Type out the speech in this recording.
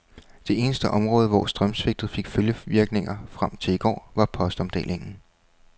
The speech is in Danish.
Det eneste område, hvor strømsvigtet fik følgevirkninger frem til i går, var postomdelingen.